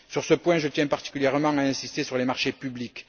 Sur ce point, je tiens particulièrement à insister sur les marchés publics.